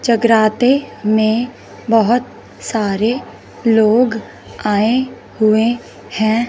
जगराते में बहोत सारे लोग आये हुए हैं।